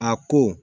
A ko